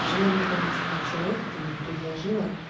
в желании помочь этому человеку ты ему предложила